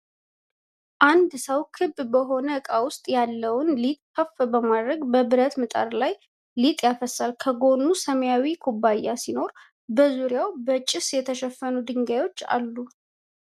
አንድ ሰው ክብ በሆነ ዕቃ ውስጥ ያለውን ሊጥ ከፍ በማድረግ በብረት ምጣድ ላይ ሊጥ ያፈሳል። ከጎን ሰማያዊ ኩባያ ሲኖር፣ በዙሪያው በጭስ የተሸፈኑ ድንጋዮች አሉ።